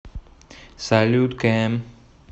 салют кэм